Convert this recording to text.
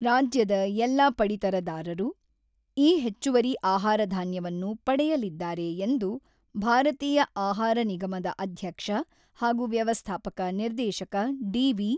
ರಾಜ್ಯದ ಎಲ್ಲ ಪಡಿತರದಾರರು ಈ ಹೆಚ್ಚುವರಿ ಆಹಾರಧಾನ್ಯವನ್ನು ಪಡೆಯಲಿದ್ದಾರೆ ಎಂದು ಭಾರತೀಯ ಆಹಾರ ನಿಗಮದ ಅಧ್ಯಕ್ಷ ಹಾಗೂ ವ್ಯವಸ್ಥಾಪಕ ನಿರ್ದೇಶಕ ಡಿ.ವಿ.